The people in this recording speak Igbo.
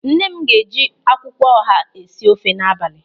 Nne m ga-eji akwụkwọ ọha esi ofe n'abalị.